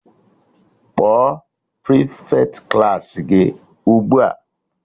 Kpọọ prịfeti Klassị gị ugbua!